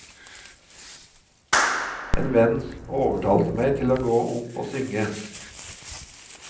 En venn overtalte meg til å gå opp og synge.